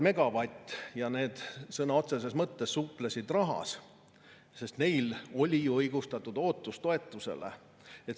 Nemad siis sõna otseses mõttes suplesid rahas, sest neil oli ju õigustatud ootus toetusele.